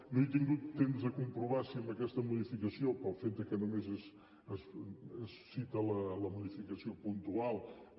no he tingut temps de comprovar si amb aquesta modificació pel fet que només es cita la modificació puntual